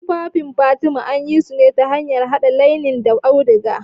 Tufafin fatima anyisune ta hanyar haɗa lainen da auduga.